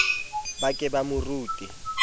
ba ke ba mo rute